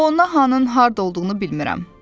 O, hanın harda olduğunu bilmirəm.